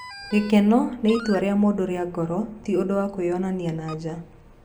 Gĩkeno nĩ itua rĩa mũndũ rĩa ngoro, ti ũndũ wa kwĩyonania na nja.